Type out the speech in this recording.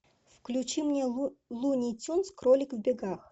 включи мне луни тюнз кролик в бегах